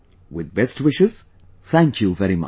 With best wishes, thank you very much